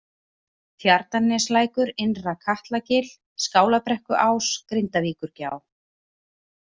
Tjarnarneslækur, Innra-Katlagil, Skálabrekkuás, Grindavíkurgjá